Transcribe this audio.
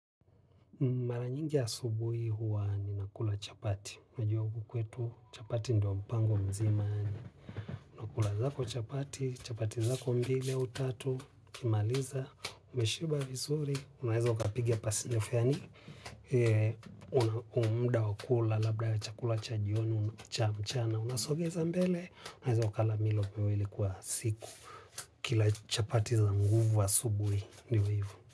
Mara nyingi asubui huwa ninakula chapati. Najua huku kwetu, chapati ndo mpango mzima. Unakula zako chapati, chapati zako mbili au tatu. Ukimaliza, umeshiba visuri, unaeza ukapiga pasi nyofe yani. Unaomda wa kula labda chakula cha jioni cha mchana. Unasogeza mbele, unaeza ukala milo miwili kuwa siku. Ukila chapati za nguvu asubui, ndivo hivo.